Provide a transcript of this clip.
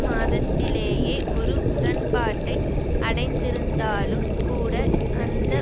மாதத்திலேயே ஒரு உடன்பாட்டை அடைந்திருந்தாலும் கூட அந்த